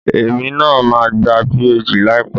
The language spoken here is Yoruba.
Èmi náà máa gba PhD láìpẹ́